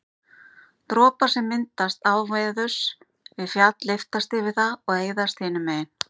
dropar sem myndast áveðurs við fjall lyftast yfir það og eyðast hinu megin